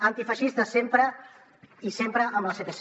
antifeixistes sempre i sempre amb el sepc